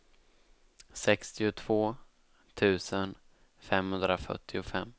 sextiotvå tusen femhundrafyrtiofem